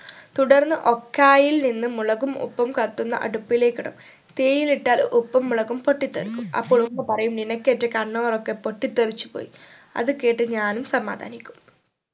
തുടർന്ന് ഒക്ക്യയിൽ നിന്നും മുളകും ഉപ്പും കത്തുന്ന അടുപ്പിലേക്ക് ഇടും തീയിലിട്ടാൽ ഉപ്പും മുളകും പൊട്ടി തെറിക്കും അപ്പോൾ ഉമ്മ പറയും നിനക്ക് ഏറ്റ കണ്ണുകളൊക്കെ പൊട്ടി തെറിച്ചു പോയി അത് കേട്ട് ഞാനും സമാധാനിക്കും